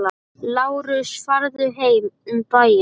LÁRUS: Farðu um bæinn!